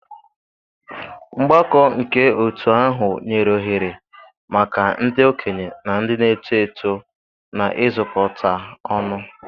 Mgbakọ nke otu ahụ nyere ohere maka ndị okenye na ndị na-eto eto na-izukọta ọnụ.